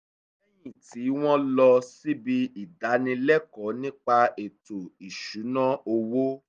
lẹ́yìn tí wọ́n lọ síbi ìdánilẹ́ẹ̀kọ́ nípa ètò ìṣúná owó